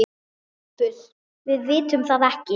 SOPHUS: Við vitum það ekki.